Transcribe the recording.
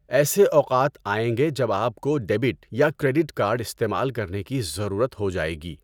ایسے اوقات آئیں گے جب آپ کو ڈیبٹ یا کریڈٹ کارڈ استعمال کرنے کی ضرورت ہو جائے گی۔